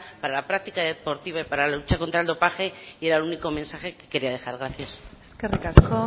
para la práctica deportiva y para la lucha contra el dopaje y era el único mensaje que quería dejar gracias eskerrik asko